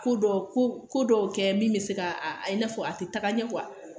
Ko dɔ ko dɔ kɛ min bɛ se ka i n'a fɔ a tɛ taga ɲɛ